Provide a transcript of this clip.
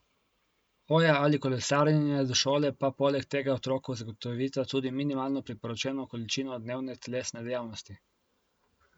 Hoja ali kolesarjenje do šole pa poleg tega otroku zagotovita tudi minimalno priporočeno količino dnevne telesne dejavnosti.